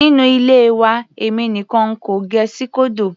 Nínú ilé wa èmi nìkan n kò gẹ síkódò.